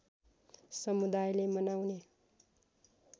समुदायले मनाउने